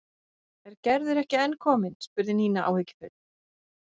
Er Gerður ekki enn komin? spurði Nína áhyggjufull.